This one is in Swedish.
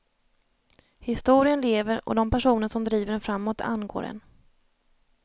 Historien lever och de personer som driver den framåt angår en.